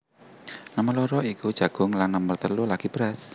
Nomer loro iku jagung lan nomer telu lagi beras